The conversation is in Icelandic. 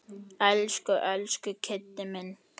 Elsku, elsku Kiddi minn.